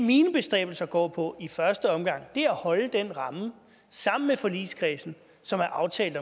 mine bestræbelser går på i første omgang er at holde den ramme sammen med forligskredsen som er aftalt